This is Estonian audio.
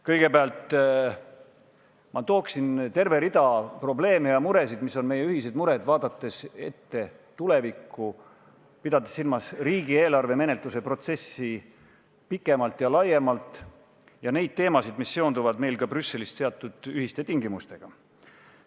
Kõigepealt ma tooksin välja terve rea probleeme ja muresid, mis on meie ühised mured, vaadates ette tulevikku, pidades silmas riigieelarve menetluse protsessi pikemalt ja laiemalt, ja neid teemasid, mis seonduvad meil ka Brüsselist seatud ühiste tingimustega.